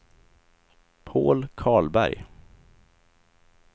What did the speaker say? Paul Karlberg